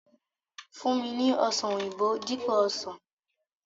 Fun mi ni ọsan oyinbo dipo osan!